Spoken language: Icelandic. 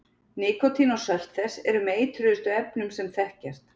Nikótín og sölt þess eru með eitruðustu efnum sem þekkjast.